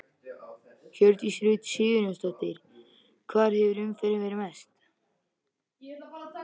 Hjördís Rut Sigurjónsdóttir: Hvar hefur umferðin verið mest?